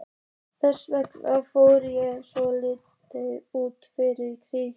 Þess vegna fór ég svo snögglega út í fyrra.